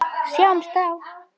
Sjáumst þá!